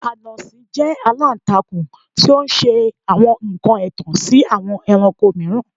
Anansi jẹ alantakun ti o ṣe awọn nkan ẹtan si awọn ẹranko miiran